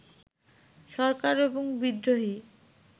সরকার এবং বিদ্রোহী